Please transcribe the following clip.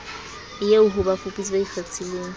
eo ho bafuputsi ba ikgethileng